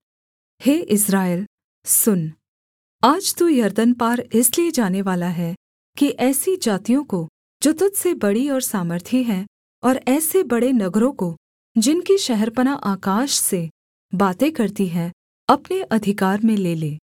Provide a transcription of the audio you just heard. हे Israel सुन आज तू यरदन पार इसलिए जानेवाला है कि ऐसी जातियों को जो तुझ से बड़ी और सामर्थी हैं और ऐसे बड़े नगरों को जिनकी शहरपनाह आकाश से बातें करती हैं अपने अधिकार में ले ले